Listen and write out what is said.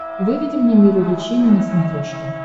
выведи мне мир увлечений на смотрешке